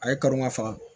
A ye kalo ma faga